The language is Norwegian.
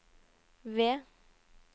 V